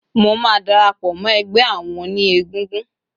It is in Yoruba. Mo máa darapò mó egbé àwon oní egúngún